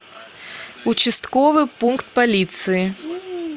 участковый пункт полиции